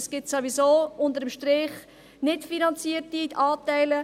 Es gibt sowieso unter dem Strich nicht finanzierte Anteile.